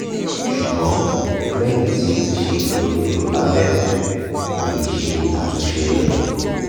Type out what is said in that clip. ṣugbọn lẹhin ti o ti ṣe itọju abẹrẹ o le ṣe atunṣe rẹ